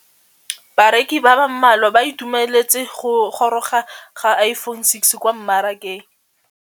Bareki ba ba malwa ba ituemeletse go gôrôga ga Iphone6 kwa mmarakeng.